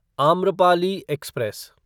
Amrapali express